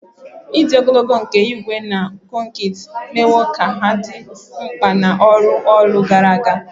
Ịdị ogologo nke ígwè na kọnkịtị emewo ka ha dị mkpa na ọrụ ụlọ gara aga